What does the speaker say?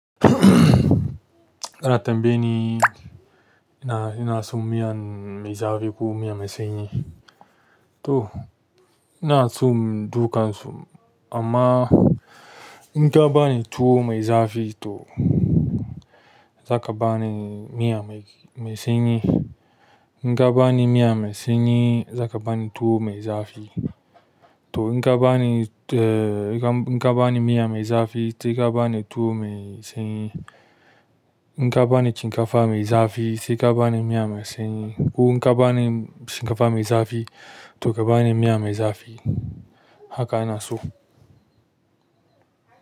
Ana tambaye ni ina, ina so miyan mai zafi ko miya mai sanyi. To ina so dukan su amma in ka bani tuwo mai zafi to za ka bani miya mai, mai sanyi. In ka bani miya mai sanyi za ka bani tuwo mai zafi. To in ka bani, eh, in ka bani miya mai zafi sai ka bani tuwo mai sanyi. In ka bani shinkafa mai zafi sai ka bani miya mai sanyi ko in ka bani shinkafa mai zafi to ka bani miya mai zafi. Haka ina so.